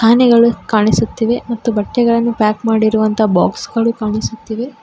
ಆನೆಗಳು ಕಾಣಿಸುತ್ತಿವೆ ಮತ್ತು ಬಟ್ಟೆಗಳನ್ನು ಪ್ಯಾಕ್ ಮಾಡಿರುವ ಬಾಕ್ಸ್ ಗಳು ಕಾಣಿಸುತ್ತಿವೆ.